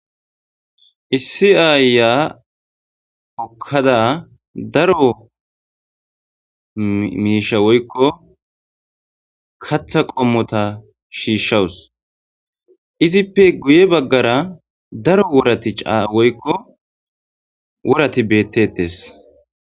issi aaya hokkada daro miisha woykko katha qommota shiishshawus izippe guye baggara daro worati caa woykko worati beettettes